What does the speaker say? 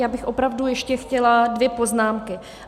Já bych opravdu ještě chtěla dvě poznámky.